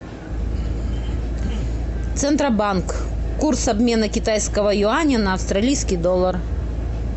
центробанк курс обмена китайского юаня на австралийский доллар